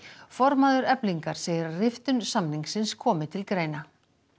formaður Eflingar segir að riftun samningsins komi til greina